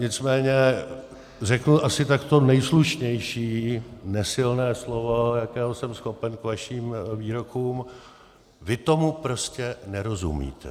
Nicméně řeknu asi tak to nejslušnější nesilné slovo, jakého jsem schopen k vašim výrokům: vy tomu prostě nerozumíte.